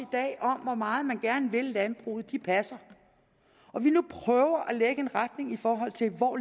dag om hvor meget man gerne vil landbruget passer og vi nu prøver at lægge en retning i forhold til hvor